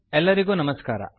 ಎಲ್ಲರಿಗೂ ನಮಸ್ಕಾರ